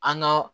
An ga